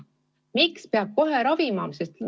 Miks peab kohe ravima?